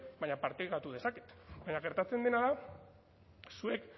baina partekatu dezaket baina gertatzen dena da zuek